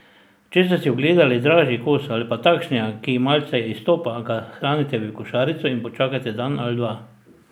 Če ste si ogledali dražji kos ali pa takšnega, ki malce izstopa, ga shranite v košarico in počakajte dan ali dva.